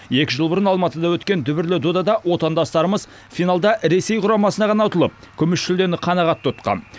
екі жыл бұрын алматыда өткен дүбірлі додада отандастарымыз финалда ресей құрамасынан ғана ұтылып күміс жүлдені қанағат тұтқан